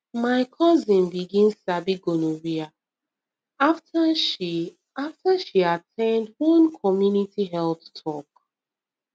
my cousin begin sabi gonorrhea after she after she at ten d one community health talk